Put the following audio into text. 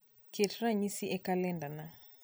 ket ranyisi e kalendana